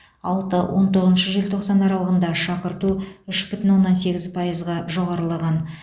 алты он тоғызыншы желтоқсан аралығында шақырту үш бүтін оннан сегіз пайызға жоғарылаған